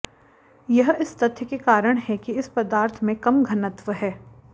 यह इस तथ्य के कारण है कि इस पदार्थ में कम घनत्व है